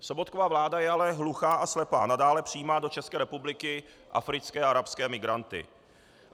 Sobotkova vláda je ale hluchá a slepá, nadále přijímá do České republiky africké a arabské migranty.